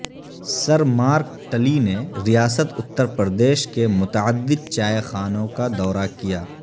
سر Mark Tully نے ریاست اترپردیش کے متعدد چائے خانوں کا دورہ کیا